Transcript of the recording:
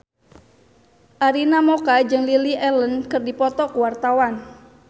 Arina Mocca jeung Lily Allen keur dipoto ku wartawan